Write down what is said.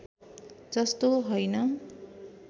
जस्तो हैन